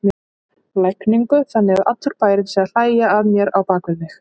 lægingu, þannig að allur bærinn sé að hlæja að mér á bak við mig.